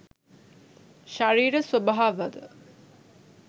ශරීර ස්වභාවද